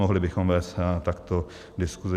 Mohli bychom vést takto diskusi.